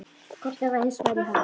Kollur var hins vegar í ham.